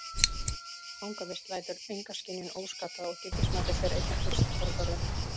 Fangavist lætur enga skynjun óskaddaða og gildismatið fer einna fyrst forgörðum.